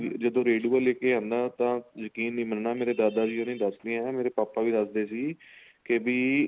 ਜਦੋਂ ਰੇਡੁਆ ਲੈ ਕੇ ਆਂਦਾ ਤਾਂ ਯਕੀਨ ਨੀਂ ਮੰਨਨਾ ਮੇਰੇ ਦਾਦਾ ਜੀ ਬਾਰੇ ਦੱਸਦੇ ਏ ਮੇਰੇ ਪਾਪਾ ਵੀ ਦੱਸਦੇ ਸੀ ਤੇ ਬੀ